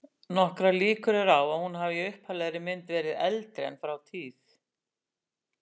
Nokkrar líkur eru á að hún hafi í upphaflegri mynd verið eldri en frá tíð